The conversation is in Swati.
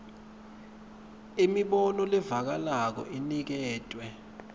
imibono levakalako iniketwe